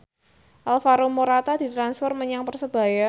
Alvaro Morata ditransfer menyang Persebaya